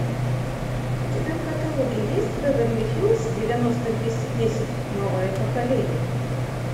у тебя в каталоге есть беверли хиллз девяносто двести десять новое поколение